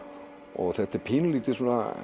og þetta verður pínulítið